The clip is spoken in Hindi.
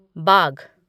बाघ